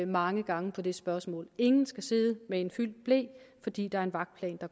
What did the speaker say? mange gange på det spørgsmål ingen skal sidde med en fyldt ble fordi der er en vagtplan